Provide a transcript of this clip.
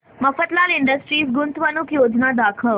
Mafatlal industries गुंतवणूक योजना दाखव